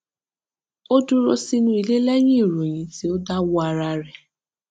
a dúró sínú ilé lẹyìn ìròyìn tí ó dáwọ ara rẹ